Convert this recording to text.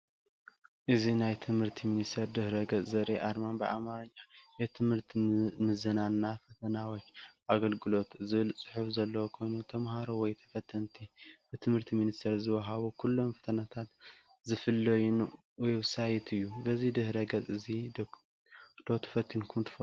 እዚ ናይ ት/ቲ ሚኒስቴር ድህረ ገፅ ዘርኢ ኣርማን ብኣማርኛ "የትምህርት ምዘናና ፈተናዎች ኣገልግሎት" ዝብል ፅሑፍ ዘለዎ ኮይኑ ተምሃሮ ወይ ተፈተንቲ ብት/ቲ ሚኒስቴር ዝዋሃቡ ኩሎም ፈተናታት ዝፍተንሉ ዌብሳይት እዩ፡፡ በዚ ድህረ ገፅ እዚ ዶ ተፈቲንኩም ትፈልጡ?